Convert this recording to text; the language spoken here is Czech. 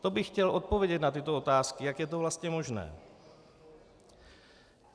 To bych chtěl odpovědět na tyto otázky, jak je to vlastně možné.